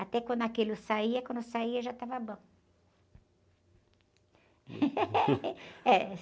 Até quando aquilo saía, quando saía já estava bom. É...